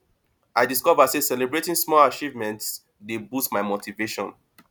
i discover sey celebrating small achievements dey boost my motivation